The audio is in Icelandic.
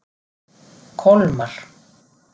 Kolmar